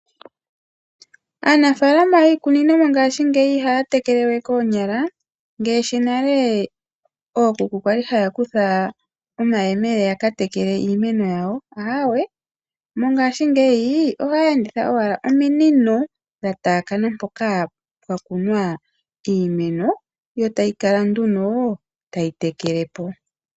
Aanafalama yiikunino mongashingeyi ihaya tekele we koonyala ngaashi nale ookuku kwali haya kutha omayemele ya ka tekele iimeno yawo. Aawe, mongashingeyi ohaya enditha owala ominino dha taakana mpoka pwa kunwa iimeno, yo tayi kala nduno tayi tekele po.